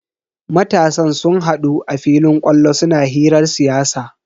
Matasan sun hadu a filin kwallo suna hirar siyasa.